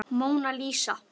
Móna Lísa.